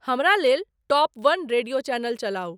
हमरा लेल top one radio channel चलाउ